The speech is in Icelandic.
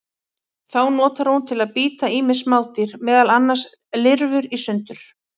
Þá notar hún til að bíta ýmis smádýr, meðal annars lirfur, í sundur.